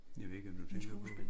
Jeg ved ikke hvem du tænker på